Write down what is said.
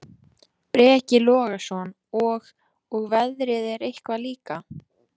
Breki Logason: Og, og veðrið eitthvað líka?